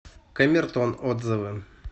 камертон отзывы